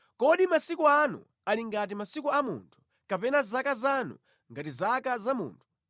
Kodi masiku anu ali ngati masiku a munthu, kapena zaka zanu ngati zaka za munthu,